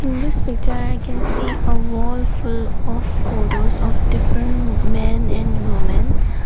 in this picture i can see a wall full of photos of different men and women.